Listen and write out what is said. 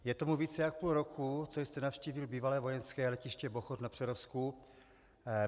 Je tomu více jak půl roku, co jste navštívil bývalé vojenské letiště Bochoř na Přerovsku.